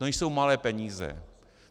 To nejsou malé peníze.